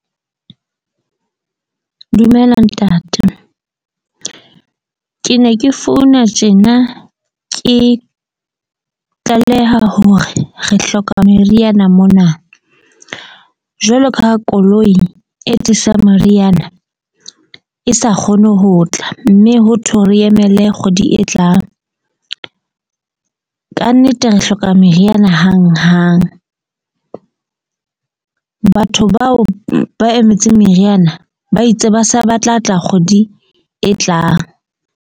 Dumela ntate. Ke ne ke founa tjena. Ke tlaleha hore re hloka meriana mona. Jwalo ka ha koloi e tlisang meriana e sa kgone ho tla, mme ho thwe re emele kgwedi e tlang. Kannete re hloka meriana hanghang. Batho bao ba emetseng meriana ba itse ba sa ba tla tla kgwedi e tlang.